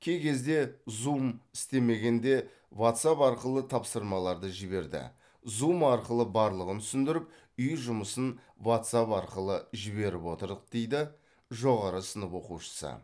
кей кезде зум істемегенде ватсап арқылы тапсырмаларды жіберді зум арқылы барлығын түсіндіріп үй жұмысын ватсап арқылы жіберіп отырдық дейді жоғары сынып оқушысы